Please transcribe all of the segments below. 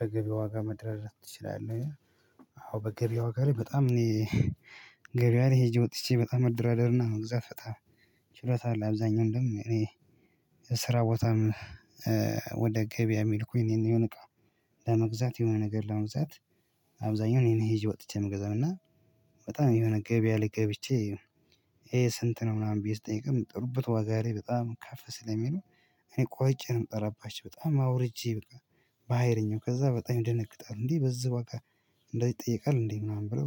"በገበያ ዋጋ መደራደር ትችላለህ?"? ይላል አዎ በገበያ ዋጋ ላይ በጣም እኔ ገበያ ላይ ሄጄ ወጥቼ በጣም መደራደርና መግዛት በጣም ችለታ አለ። አብዛኛው እንደውም እኔ ስራ ቦታም። ወደ ገበያ ሚልኩኝ እኔን ነው የሆነ እቃ ለመግዛት የሆነ ነገር ለመግዛት። አብዛኛው እኔን ሄጄ ወጥቼ ምገዛው እና። በጣም የሆነ ገበያ ላይ ገብቼ ይሄ ስንት ነው ምናምን ብዬ ስጠይቅ ሚጠሩብት ዋጋ ላይ በጣም ከፈ ስለሚሉ። እኔ ቆርጬ ነው የምጠራባቸው በጣም አውርጄ በቃ። በሃይለኛው ከዛ በጣም ይደነግጣል እንዴ በዚህ ዋጋ? እንደዚህ ይጠየቃል እንዴ ምናምን ብለው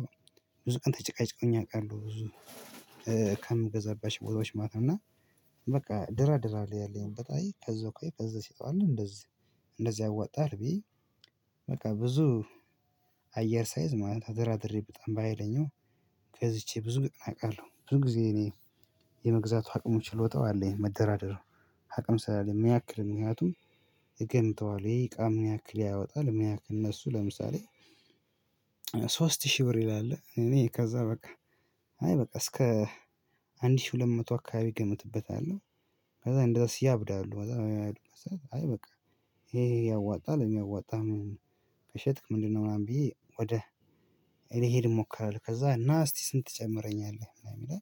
ብዙ ቀን ተጨቃጭቀውኝ ያውቃሉ። ብዙ ከምገዛባቸው ቦታዎች ማለት ነው። እና በቃ እደራድራለሁ ያለኝን በጣም ከዛ ቆይ ከዛ ሲጠይቃል እንደዚህ እንደዚህ ያዋጣሀል ብዬ። በቃ ብዙ አየር ሳይዝ ማለት ተደራድሬ በጣም በሃይለኛው ገዝቼ ብዙ እቃ አውቃለሁ። ብዙ ጊዜ እኔ የመግዛቱ አቅሙ ችሎታው አለኝ። መደራደሩ አቅም ስላለኝ ምንያክል ምክንያቱም እገምተዋል ይሄ እቃ ምንያክል ያወጣል። ምንያክል እነሱ ለምሳሌ ሶስት ሺህ ብር ይላል እኔ ከዛ በቃ አይ በቃ እስከ አንድ ሺህ ሁለት መቶ አካባቢ ገምትበታለሁ። ከዛ እንደዛ ሲያብድ አለው አይ በቃ ይሄ ያዋጣል የሚያዋጣህን ከሸጥክ ምንድነው? ምናምን ብዬ ወደ ልሄድ እሞክራለሁ። ከዛ ና እስቲ ስንት ትጨምርልኛለህ ምናምን ይላይ።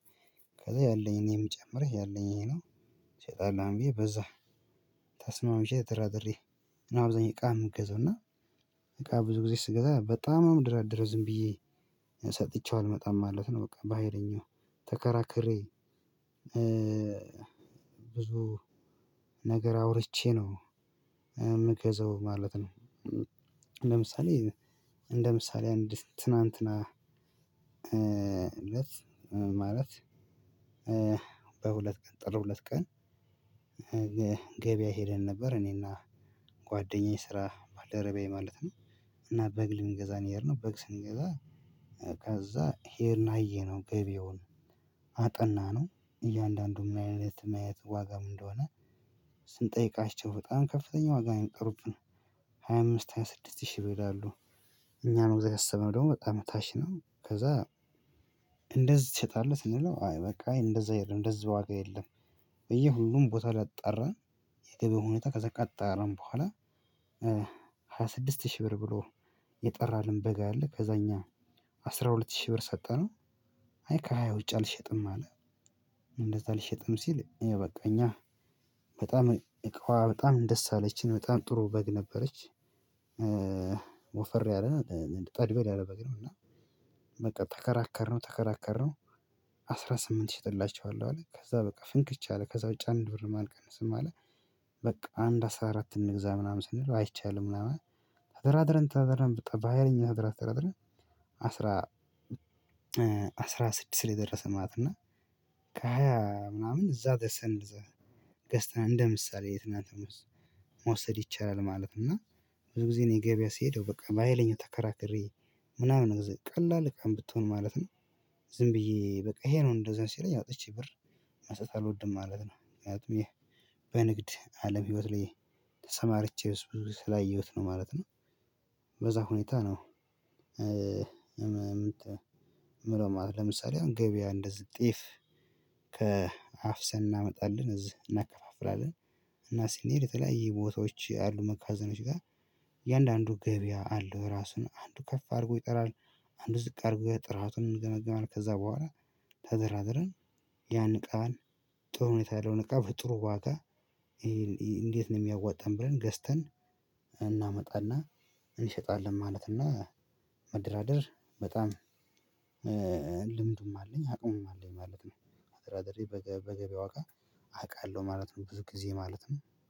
ከዛ ያለኝ ነው የምጨምርህ ያለኝ ነው። ትሸጣን ምናምን ብዬ በዛ ተስማምቼ ተደራድሬ። እና አብዛኛውን እቃ የምገዛው እና እቃ ብዙ ጊዜ ስገዛ በጣም ነው ምደራደደረው ዝም ብዬ ሰጥቼው አልመጣም ማለት ነው። በቃ በሃይለኛው ተከራክሬ ብዙ ነገር አውርቼ ነው የምገዛው ማለት ነው። ለምሳሌ እንደ ምሳሌ አንድ ትናንትና እለት ማለት በሁለት ቀን ጥሩ ሁለት ቀን ገበያ ሄደን ነበር እኔና ጓደኛዬ ስራ ባለረቢያዬ ማለት ነው። እና በግ ልንገዛ ነው የሄድነው። በግ ስንገዛ ከዛ ሄድን አየነው ገብያውን አጠናነው እያንዳንዱ ምን አይነት ምን አይነት ዋጋ እንደሆነ? ስንጠይቃችሁ በጣም ከፍተኛ ዋጋ ነው የሚጠሩብን። ሃያ አምስት ሃያ ስድስት ሺህ ብር ይላሉ። ነው ለመግዛት ያሰብነው ደግሞ በጣም ታች ነው ከዛ። እንደዚህ ትሰጣለህ ስንለው የምለው አይ በቃ እንደዛ አይሄድም እንደዛ ዋጋ የለም። በየሁሉም ቦታ ላይ አጣራን። የገብያው ሁኔታ ከዛ ካጣራን በኋላ ሃያ ስድስት ሺህ ብር ብሎ። የጠራልን በግ አለ ከዛ እኛ አስራ ሁለት ሺህ ብር ሰጠነው። አይ ከሃያ ውጭ አልሸጥም አለ። እንደዛ አልሸጥም ሲል አይ በቃ እኛ በጣም በጣም ደስ አለችኝ በጣም ጥሩ በግ ነበረች። ወፈሪ አለን ጠድበል ያለ በግ ነው። እና በቃ ተከራከርነው ተከራከርነው። አስራ ስምንት እሸጥላቸዋለሁ አለ ከዛ በቃ ፍንክች አለ ከዛ ውጪ አንድ ብር ማንቀንስም አለ። በቃ አንድ አስራ አራት እንግዛ ምናምን ስንል አይቻልም ምናምን ተደራድረን ተደራድረን በሃይለኛ ተደራድረን። አስራ ስድስት ላይ ደረስን ማለት ነው። እና ከሃያ ምናምን እዛ ደርሰን ገዝተን እንደ ምሳሌ የትናንትም መውሰድ ይቻላል ማለት ነው። እና ብዙ ጊዜ ነው የገበያ ሲሄደው በቃ በሃይለኛው ተከራክሬ ምናምን ቀላል ካም ብትሆን ማለት ነው። ዝም ብዬ በቃ ይሄ ነው እንደዚህ አይነት ሲለኝ አውጥቼ ብር መስጠት አልወድም ማለት ነው። ምክንያቱም ይሄ በንግድ አለም ህይወት ላይ ተሰማርቼ ብዙ ስላየሁት ነው ማለት ነው። በዛ ሁኔታ ነው። ምውለው ማለት ነው። ለምሳሌ አሁን ገበያ እንደዚህ ጤፍ ከ አፍሰን እናመጣለን እዚህ እናከፋፍላለን። እና ስንሄድ የተለያየ ቦታዎች አሉ መጋዘኖች ጋር። እያንዳንዱ ገበያ አለው የራሱ እና አንዱ ከፍ አድርጎ ይጠራል። አንዱ ዝቅ አድርጎ ጥራቱን እንገመገማለን። ከዛ በኋላ ተደራድረን ያን እቃዋን ጥሩ ሁኔታ ያለው እቃ በጥሩ ዋጋ። እንዴት ነው የሚያዋጣን ብለን ገዝተን። እናመጣና እንሰጣለን ማለትና መደራደር በጣም ልምዱም አለኝ አቅሙም አለኝ ማለት ነው። ተደራድሬ በገበያው ዋጋ አውቃለሁ ማለት ነው። ብዙ ጊዜ ማለት ነው